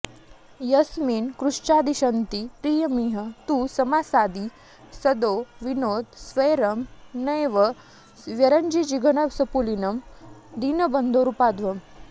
यस्मिन् कृच्छ्राद्विशन्ती प्रियमिह तु समासादि सद्यो विनोद्य स्वैरं नैव व्यरंसीज्जघनसुपुलिनं दीनबन्धोरुपाध्वम्